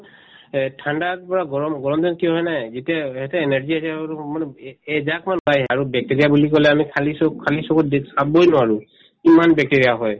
এহ্ ঠাণ্ডাত বা গৰম গৰমদিনত কি হয় মানে যেতিয়া এহেতে energy মানে এএ এজাক মান আৰু bacteria বুলি কলে আমি খালিচক খালিচকু চাবই নোৱাৰো ইমান bacteria হয়